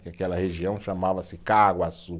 Que aquela região chamava-se Caaguaçu.